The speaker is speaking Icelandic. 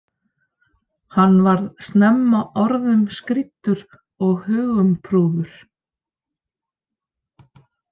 Hann varð snemma orðum skrýddur og hugumprúður.